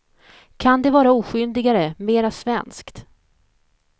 Kan det vara oskyldigare, mer svenskt.